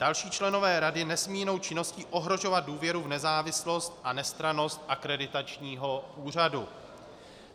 Další členové rady nesmějí jinou činností ohrožovat důvěru v nezávislost a nestrannost Akreditačního úřadu.